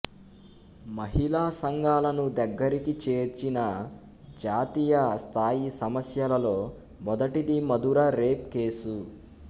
మహిళా సంఘాలను దగ్గరికి చేర్చిన జాతీయ స్థాయి సమస్యలలో మొదటిది మథుర రేప్ కేసు